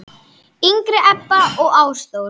yngri Ebba og Ástþór.